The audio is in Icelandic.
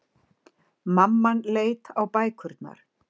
Mamman leit á bækurnar.